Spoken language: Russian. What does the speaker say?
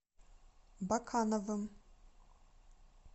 бакановым